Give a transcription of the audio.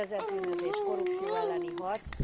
Szervezett bűnözés, korrupció elleni harc.